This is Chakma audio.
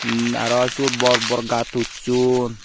um aro syot bor bor gaat huchchon.